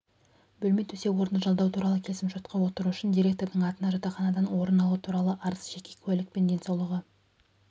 бөлме төсек-орынды жалдау туралы келісімшартқа отыру үшін директордың атына жатақханадан орын алу туралы арыз жеке куәлік мен денсаулығы